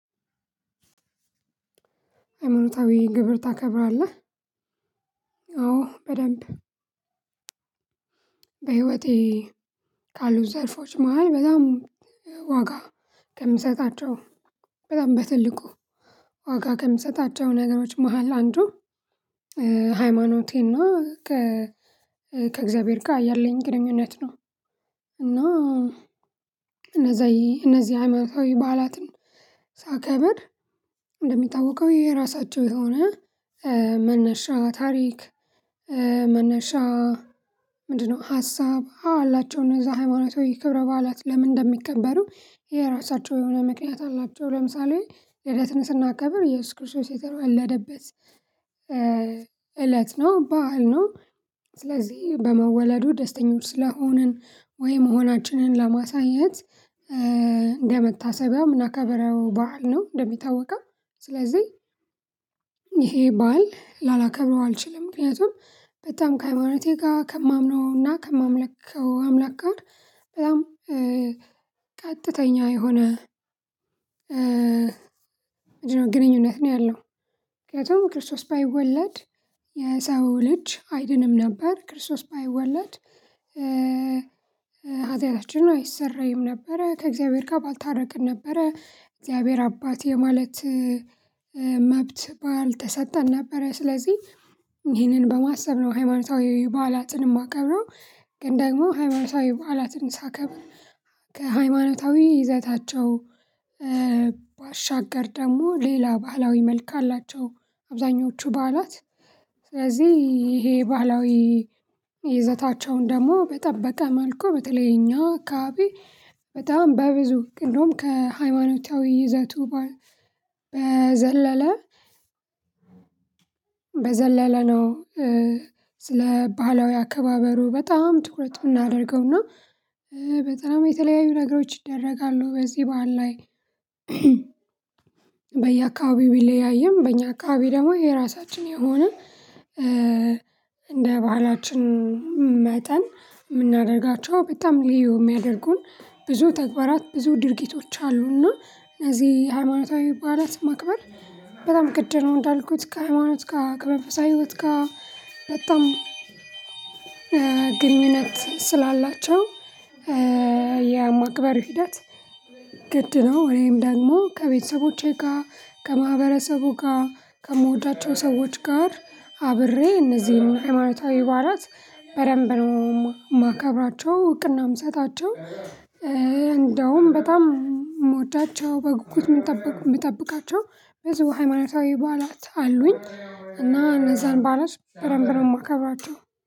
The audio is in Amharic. ሃይማኖታዊ ግብር ታከብራለህ? አዎ በደንብ በህይወቴ ካሉት ዘልፎች መሃል በጣም ዋጋ ከምሰጣቸው በጣም በትልቁ ዋጋ ከምሰጣቸው ነገሮች መሃል አንዱ ሃይማኖቴና ከእግዚአብሔር ጋር ያለኝ ግንኙነት ነው። እና እነዚህ እነዚህ ሃይማኖታዊ በዓላትን ሳከበር እንደሚጠዋቀው የራሳቸው የሆነ መነሻ ታሪክ መነሻ ምንድነው ሀሳብ አላቸው እነዛ ሃይማኖት ወይ ክብረ በዓላት ለምን እንደሚከበሩ የራሳቸው የሆነ ምክንያት አላቸው ለምሳሌ ልደትን ስናከብር የስ ክርስቶስ የተወለደበት እለት ነው? ባህል ነው ስለዚህ በመወለዱ ደስተኞች ስለሆንን ወይ መሆናችንን ለማሳየት እንደመታሰቢያም እምናከብረው ባህል ነው እንደሚታወቀው ስለዚህ ይሄ ባህል ላላከብረው አልችልም። ምክንያቱም በጣም ከሃይማኖቴ ጋር ከማምነው እና ከማምለከው አምላክ ጋር በጣም ቀጥተኛ የሆነ ግንኙነት ነው ያለው። ምክንያቱም ክርስቶስ ባይወለድ የሰው ልጅ አይድንም ነበር ክርስቶስ ባይወለድ ኃጢአታችን አይሰረይም ነበረ ከእግዚአብሔር ጋር ባልታረቅን ነበረ እግዚአብሔር አባት የማለት መብት ባልተሰጠን ነበረ። ስለዚህ ይሄንን በማሰብ ነው ሃይማኖታዊ በዓላትን የማቀብረው ግን ደግሞ ሃይማኖታዊ በዓላትን ሳከብር ከሃይማኖታዊ ይዘታቸው ባሻገር ደግሞ ሌላ ባህላዊ መልካ አላቸው አብዛኞቹ በዓላት ስለዚህ ይሄ ባህላዊ ይዘታቸውን ደግሞ በጠበቀ መልኩ በተለይ እኛ አካባቢ በጣም በብዙ ግን እንደውም ከሃይማኖታዊ ይዘቱ በዘለለ በዘለለ ነው። ስለ ባህላዊ አከባበሩ በጣም ትኩረት እምናደርገውና በጣም የተለያዩ ነገሮች ይደረጋሉ በዚህ በዓል ላይ በየአካባቢው ቢለያይም በእኛ አካባቢ ደግሞ የራሳችን የሆነ እንደ ባህላችን መጠን የምናደርጋቸው በጣም ልዩ የሚያደርጉን ብዙ ተግባራት ብዙ ድርጊቶች አሉና እዚህ ሃይማኖታዊ በዓላት ማክበር በጣም ግድ ነው። እንዳልኩት ከሃይማኖት ጋር ከመንፈሳዊው ጋር በጣም ግንኙነት ስላላቸው የማክበር ሂደት ግድ ነው። ወይም ደግሞ ከቤተሰቦቼ ጋር ከማህበረሰቡ ጋር ከምወዳቸው ሰዎች ጋር አብሬ እነዚህን ሃይማኖታዊ በዓላት በደንብ ነው የማከብራቸው እውቅናም እምሰጣቸው። እንደውም በጣም ምወዳቸው በጉጉት ምጠብቃቸው በዙ ሃይማኖታዊ በዓላት አሉኝ እና እነዛን በዓላት በደንብ ነው ማከብራቸው።